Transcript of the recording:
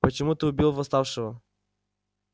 почему ты убил восставшего